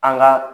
An ka